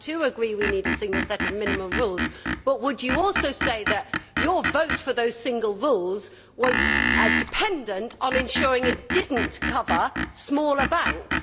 I too agree we need a single set of minimum rules, but would you also say that your vote for those single rules was dependent on ensuring it did not cover smaller banks?